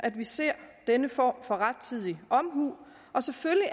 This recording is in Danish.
at vi ser denne form for rettidig omhu selvfølgelig